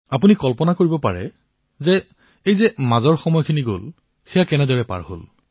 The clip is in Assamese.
আপুনি কল্পনা কৰিব পাৰে যে এই মাজৰ সময়খিনি কিদৰে অতিবাহিত হল